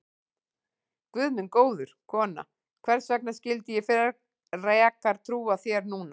Guð minn góður, kona, hvers vegna skyldi ég frekar trúa þér núna?